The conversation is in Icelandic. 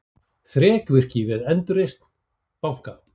Þrekvirki við endurreisn banka